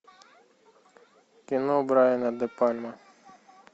кино брайана де пальма